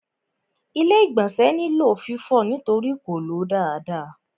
Ilé-ìgbọ̀nsẹ̀ nílò fífọ̀ nítorí kò ló dáadáa.